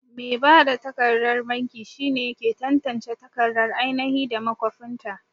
Mai bada takardar banki shine yake tantance takardar ainahi da makwafinta.